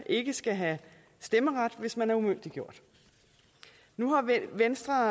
ikke skal have stemmeret hvis man er umyndiggjort nu er venstre